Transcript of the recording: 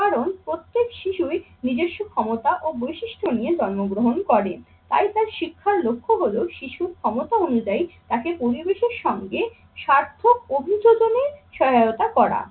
কারণ প্রত্যেক শিশুই নিজস্ব ক্ষমতা ও বৈশিষ্ট্য নিয়ে জন্মগ্রহণ করেন। তাই তার শিক্ষার লক্ষ্য হলো শিশুর ক্ষমতা অনুযায়ী তাকে পরিবেশের সঙ্গে সার্থক অভিযোগ এনে সহায়তা করা।